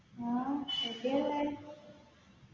ആ എവിടെയാ ഉള്ളെ